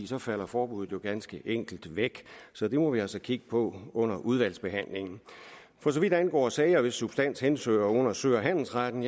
så falder forbuddet jo ganske enkelt væk så det må vi altså kigge på under udvalgsbehandlingen for så vidt angår sager hvis substans henhører under sø og handelsretten